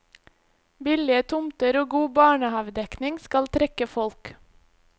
Billige tomter og god barnehavedekning skal trekke folk.